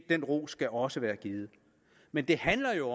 den ros skal også være givet men det handler jo